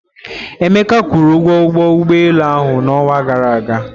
Emeka kwuru ụgwọ ụgbọ ụgbọelu ahụ n'ọnwa gara aga.